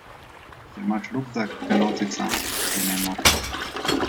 Če imaš rukzak, ga nosi sam, je njen moto.